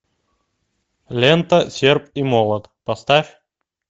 лента серп и молот поставь